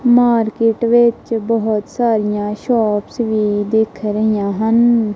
Market ਵਿੱਚ ਬਹੁਤ ਸਾਰਿਆਂ ਸ਼ੌਪਸ ਵੀ ਦਿੱਖ ਰਹੀਆਂ ਹਨ।